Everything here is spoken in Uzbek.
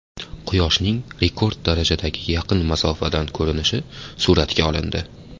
Quyoshning rekord darajadagi yaqin masofadan ko‘rinishi suratga olindi.